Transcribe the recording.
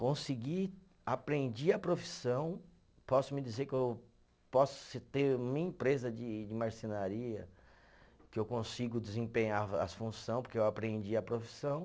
Consegui, aprendi a profissão, posso me dizer que eu posso sim ter minha empresa de de marcenaria, que eu consigo desempenhar as função, porque eu aprendi a profissão.